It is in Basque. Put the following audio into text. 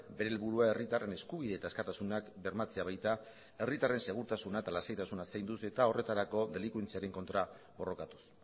euren helburua herritarren eskubide eta askatasuna bermatzea baita herritarren segurtasuna eta lasaitasuna zainduz eta horretarako delinkuentziaren kontra borrokatuz